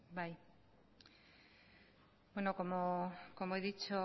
bai bueno como he dicho